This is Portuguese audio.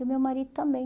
E o meu marido também.